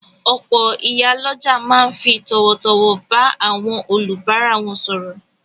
Òpò ìyálójà ma n fi tòwòtòwò ba áwon olùbárà won sòrò